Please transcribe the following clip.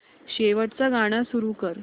शेवटचं गाणं सुरू कर